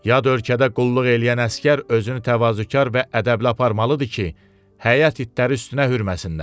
Yad ölkədə qulluq eləyən əsgər özünü təvazökar və ədəbli aparmalıdır ki, həyət itləri üstünə hürməsinlər.